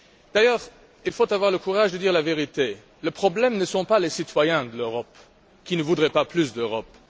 D'ailleurs, il faut avoir le courage de dire la vérité le problème, ce n'est pas les citoyens de l'Europe, qui ne voudraient pas plus d'Europe